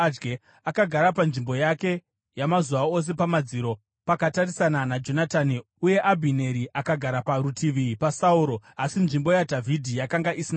Akagara panzvimbo yake yamazuva ose pamadziro, pakatarisana naJonatani, uye Abhineri akagara parutivi paSauro, asi nzvimbo yaDhavhidhi yakanga isina munhu.